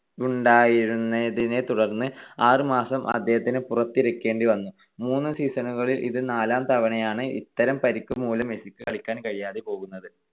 വുണ്ടായതിനെത്തുടർന്ന് ആറ് മാസം അദ്ദേഹത്തിന് പുറത്തിരിക്കേണ്ടി വന്നു. മൂന്ന് season ണുകളിൽ ഇത് നാലാം തവണയാണ് ഇത്തരം പരിക്ക് മൂലം മെസ്സിക്ക് കളിക്കാൻ കഴിയാതെ പോകുന്നത്.